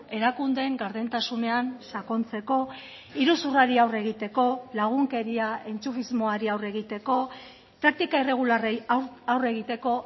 erakundeen gardentasunean sakontzeko iruzurrari aurre egiteko lagunkeria entxufismoari aurre egiteko praktika irregularrei aurre egiteko